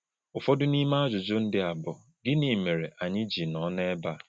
Ụfọdụ n’ime ajụjụ ndị a bụ: Gịnị mere anyị ji nọ n’ebe a?